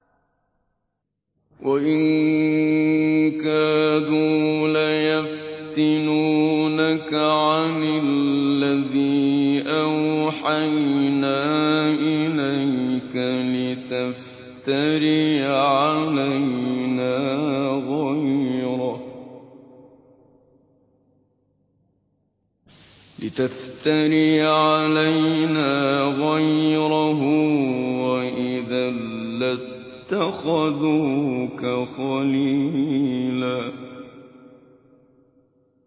وَإِن كَادُوا لَيَفْتِنُونَكَ عَنِ الَّذِي أَوْحَيْنَا إِلَيْكَ لِتَفْتَرِيَ عَلَيْنَا غَيْرَهُ ۖ وَإِذًا لَّاتَّخَذُوكَ خَلِيلًا